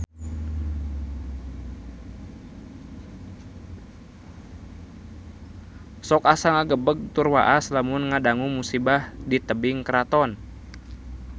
Sok asa ngagebeg tur waas lamun ngadangu musibah di Tebing Keraton